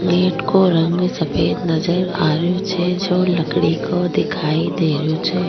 Gate को रंग सफेद नजर आ रेहो छे जो लकड़ी को दिखाई दे रेहो छे।